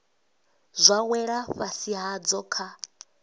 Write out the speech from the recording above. zwa wela fhasi hadzo kha